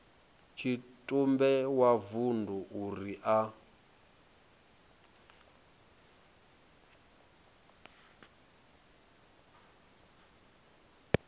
tshitumbe wa vundu uri a